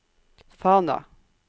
Fana